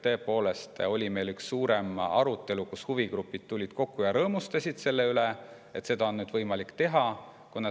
Tõepoolest oli meil üks põhjalikum arutelu, kus huvigrupid tulid kokku ja rõõmustasid, et seda on nüüd võimalik teha.